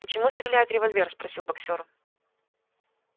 почему стреляет револьвер спросил боксёром